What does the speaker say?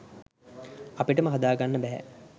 අපිටම හදාගන්න බැහැ